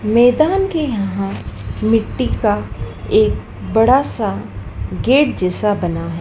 मैदान के यहाँ मिट्टी का एक बड़ा सा गेट जैसा बना है।